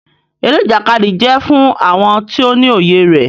Eré Ìjàkadì jẹ fún àwọn tó ní òye rẹ.